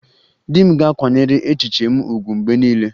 Di m ga-akwanyere echiche m ùgwù mgbe niile